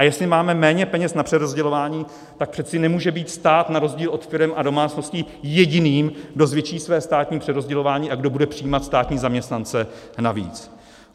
A jestli máme méně peněz na přerozdělování, pak přece nemůže být stát na rozdíl od firem a domácností jediným, kdo zvětší své státní přerozdělování a kdo bude přijímat státní zaměstnance navíc.